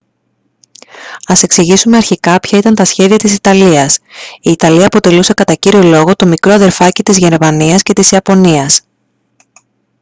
ας εξηγήσουμε αρχικά ποια ήταν τα σχέδια της ιταλίας. η ιταλία αποτελούσε κατά κύριο λόγο το «μικρό αδερφάκι» της γερμανίας και της ιαπωνίας